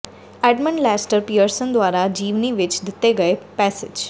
Edmund Lester Pearson ਦੁਆਰਾ ਜੀਵਨੀ ਵਿੱਚ ਦਿੱਤੇ ਗਏ ਪੈਸੇਜ